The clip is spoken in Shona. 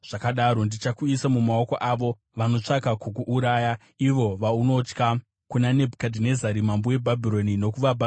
Ndichakuisa mumaoko aavo vanotsvaka kukuuraya, ivo vaunotya, kuna Nebhukadhinezari mambo weBhabhironi nokuvaBhabhironi.